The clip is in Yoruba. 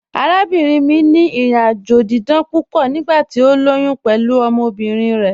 Àràbìnrin mi ni ìrìn-àjọ̀ dídán púpọ̀ nígbàtí o lóyún pẹ̀lú ọmọbirin rẹ.